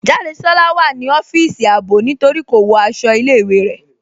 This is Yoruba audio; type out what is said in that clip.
Jádésọla wà ní ọfisì àábò ní torí kò wọ́ àṣọ̀ ilẹ̀-ìwé rẹ.